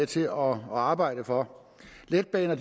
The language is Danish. til at arbejde for letbaner